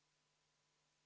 V a h e a e g